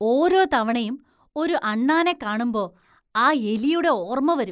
ഓരോ തവണയും ഒരു അണ്ണാനെ കാണുമ്പോ, ആ എലിയുടെ ഓർമ വരും.